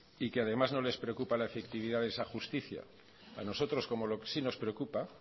y que además no les preocupa la efectividad de esa justicia a nosotros como sí nos preocupa